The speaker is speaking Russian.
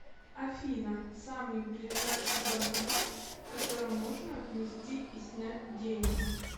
афина самый ближайший банкомат в котором можно внести и снять деньги